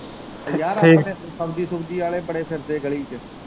ਯਾਰ ਇੱਕ ਤੇ ਸ਼ਬਜੀ-ਸੂਬਜੀ ਆਲ਼ੇ ਬੜੇ ਫਿਰਦੇ ਗਲੀ ਚ।